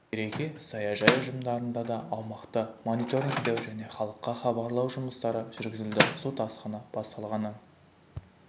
береке саяжай ұжымдарында да аумақты мониторингтеу және халыққа хабарлау жұмыстары жүргізілді су тасқыны басталғаннан